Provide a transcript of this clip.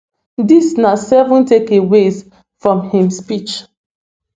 dis na seven takeaways from im speech